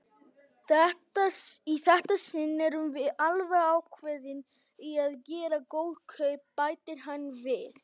Í þetta sinn erum við alveg ákveðin í að gera góð kaup, bætir hann við.